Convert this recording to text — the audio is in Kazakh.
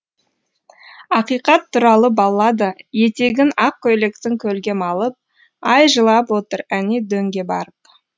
ақиқат туралы баллада етегін ақ көйлектің көлге малып ай жылап отыр әне дөңге барып